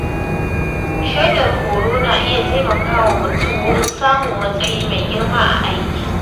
Shaidar horo na iya taimakawa mutum wurin samun matsayi mai girma a aiki.